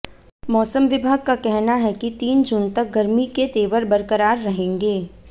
मौसम विभाग का कहना है कि तीन जून तक गर्मी के तेवर बरकरार रहेंगे